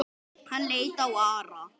Hann leit á Ara.